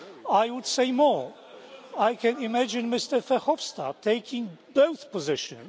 I would say more I can imagine Mr Verhofstadt taking both positions.